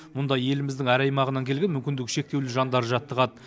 мұнда еліміздің әр аймағынан келген мүмкіндігі шектеулі жандар жаттығады